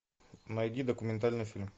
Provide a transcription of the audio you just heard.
найди документальный фильм